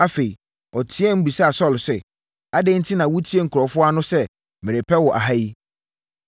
Afei, ɔteaam, bisaa Saulo sɛ, “Adɛn enti na wotie nkurɔfoɔ ano sɛ merepɛ wo aha wo?